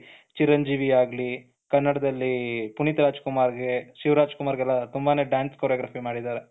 ಚಿರಂಜೀವಿ ಆಗಲಿ ಕನ್ನಡದಲ್ಲಿ ಪುನೀತ್ ರಾಜಕುಮಾರ್ ಗೆ ಶಿವ್‍ರಾಜ್‍ಕುಮಾರ್ ಗೆ ಎಲ್ಲ ತುಂಬಾನೇ dance choreography ಮಾಡಿದ್ದಾರೆ,